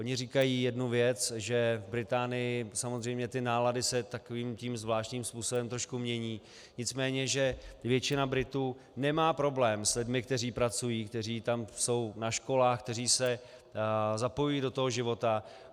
Oni říkají jednu věc, že v Británii samozřejmě ty nálady se takovým tím zvláštním způsobem trošku mění, nicméně že většina Britů nemá problém s lidmi, kteří pracují, kteří tam jsou na školách, kteří se zapojují do toho života.